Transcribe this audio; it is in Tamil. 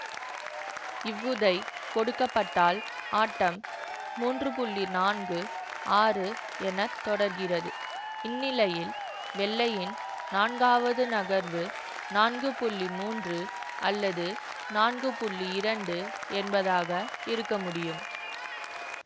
இவ்வுதை கொடுக்க பட்டால் ஆட்டம் மூன்று நான்கு ஆறு என தொடர்கிறது இந்நிலையில் வெள்ளையின் நான்காவது நகர்வு நான்கு மூன்று அல்லது நான்கு இரண்டு என்பதாக இருக்க முடியும்